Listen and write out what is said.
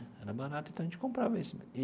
Era barato, então a gente comprava esse.